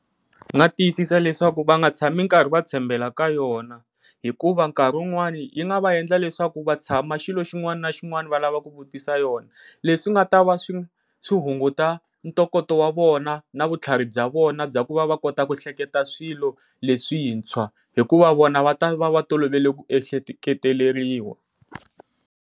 Ndzi nga tiyisisa leswaku va nga tshami nkarhi va tshembela ka yona hikuva nkarhi wun'wani yi nga va endla leswaku vatshama xilo xin'wana na xin'wana va lava ku vutisa yona, leswi nga ta va swi swi hunguta ntokoto wa vona na vutlhari bya vona bya ku va va kota ku hleketa swilo leswintshwa hikuva vona va ta va va tolovela ku ehleketeleriwa.